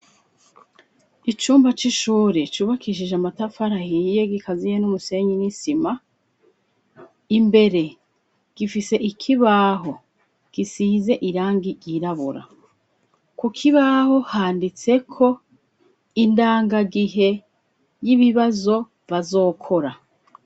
Icumba c'ishure cubakishije amatafari ahiye, gikaziye n'umusenyi w'isima, imbere gifise ikibaho gisize irangi ryirabura, ku kibaho handitseko indangagihe y'ibibazo bazokora.